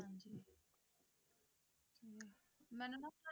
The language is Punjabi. ਮੈਨੂੰ ਨਾ ਤੁਹਾਡੇ